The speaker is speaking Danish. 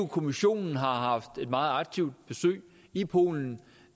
kommissionen har haft et meget aktivt besøg i polen